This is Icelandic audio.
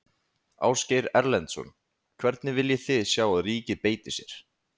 Ásgeir Erlendsson: Hvernig viljið þið sjá að ríkið beiti sér?